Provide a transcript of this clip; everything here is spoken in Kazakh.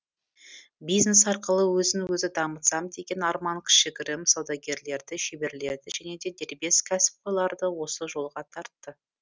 бизнес арқылы өзін өзі дамытсам деген арман кішігірім саудагерлерді шеберлерді және де дербес кәсіпқойларды осы жолға тартты